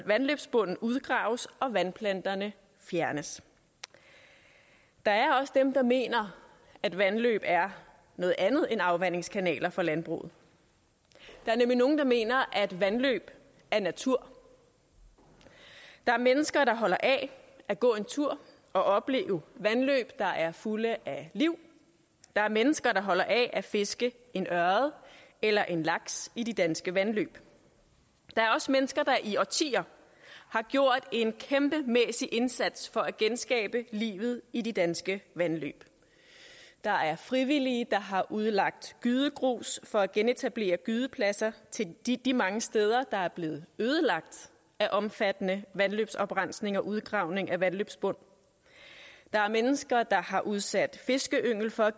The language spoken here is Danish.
vandløbsbunden udgraves og vandplanterne fjernes der er også dem der mener at vandløb er noget andet end afvandingskanaler for landbruget der er nemlig nogen der mener at vandløb er natur der er mennesker der holder af at gå en tur og opleve vandløb der er fulde af liv der er mennesker der holder af at fiske en ørred eller en laks i de danske vandløb der er også mennesker der i årtier har gjort en kæmpemæssig indsats for at genskabe livet i de danske vandløb der er frivillige der har udlagt gydegrus for at genetablere gydepladser de de mange steder der er blevet ødelagt af omfattende vandløbsoprensning og udgravning af vandløbsbund der er mennesker der har udsat fiskeyngel for at